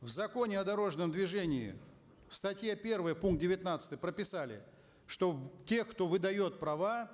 в законе о дорожном движении в статье первой пункт девятнадцатый прописали что те кто выдает права